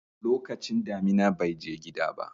lokacin damina bai je gida ba